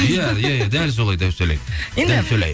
иә иә иә дәл солай